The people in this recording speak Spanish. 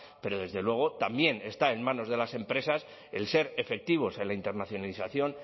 pero desde luego también está en manos de las empresas el ser efectivos en la internacionalización